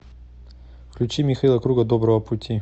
включи михаила круга доброго пути